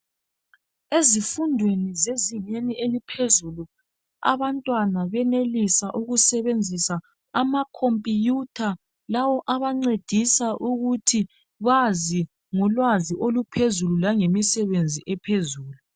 Ezifundweni zezingeni eliphezulu abantwana benelisa ukusebenzisa amakhompiyutha lawa abancedisa ukuthi bazi ngolwazi oluphezulu langemisebenzi ephezulu.